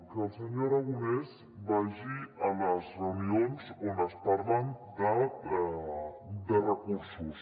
que el senyor aragonès vagi a les reu·nions on es parla de recursos